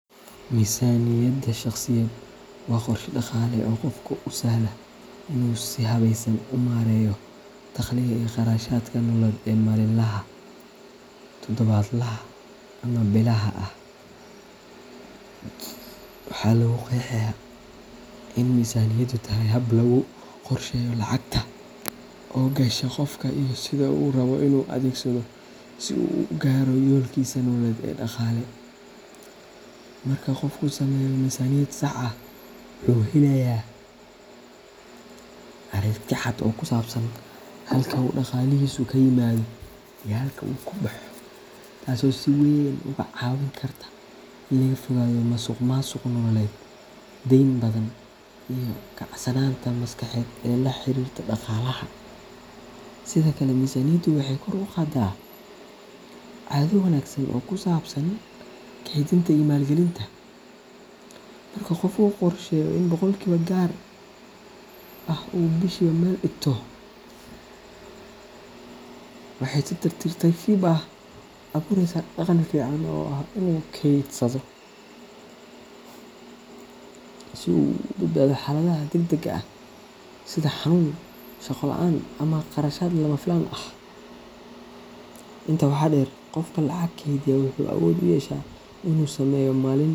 Miisaaniyadda shakhsiyeed waa qorshe dhaqaale oo qofka u sahla inuu si habaysan u maareeyo dakhliga iyo kharashaadka nololeed ee maalinlaha, todobaadlaha, ama bilaha ah. Waxaa lagu qeexaa in miisaaniyaddu tahay hab lagu qorsheeyo lacagta soo gasha qofka iyo sida uu u rabbo inuu u adeegsado si uu u gaaro yoolkiisa nololeed ee dhaqaale. Marka qofku sameeyo miisaaniyad sax ah, wuxuu helayaa aragti cad oo ku saabsan halka uu dhaqaalihiisu ka yimaado iyo halka uu ka baxo, taasoo si weyn uga caawin karta in laga fogaado musuqmaasuq nololeed, deyn badan, iyo kacsanaanta maskaxeed ee la xiriirta dhaqaalaha. Sidoo kale, miisaaniyaddu waxay kor u qaadaa caado wanaagsan oo ku saabsan kaydinta iyo maalgelinta. Marka qofka uu qorsheeyo in boqolkiiba gaar ah uu bishiiba meel dhigto, waxay si tartiib tartiib ah u abuureysaa dhaqan fiican oo ah inuu kaydsado si uu uga badbaado xaaladaha degdegga ah sida xanuun, shaqo la’aan, ama qarashaad lama filaan ah. Intaa waxaa dheer, qofka lacag kaydiya wuxuu awood u yeeshaa inuu sameeyo maalin.